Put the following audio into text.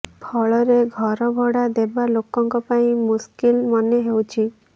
ଫଳରେ ଘର ଭଡ଼ା ଦେବା ଲୋକଙ୍କ ପାଇଁ ମୁସକିଲ ମନେହେଉଛି